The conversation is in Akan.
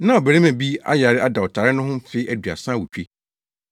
Na ɔbarima bi ayare ada ɔtare no ho mfe aduasa awotwe.